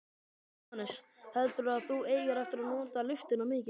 Jóhannes: Heldurðu að þú eigir eftir að nota lyftuna mikið?